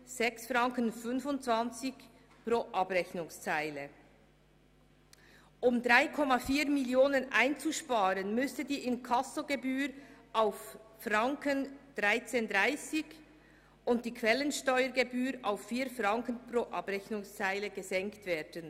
Um 3,4 Mio. Franken einzusparen, müsste die Inkassogebühr auf 13,30 Franken und die Quellensteuergebühr auf 4,00 Franken pro Abrechnungszeile gesenkt werden.